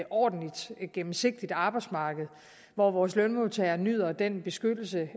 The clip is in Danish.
ordentligt og gennemsigtigt arbejdsmarked hvor vores lønmodtagere nyder den beskyttelse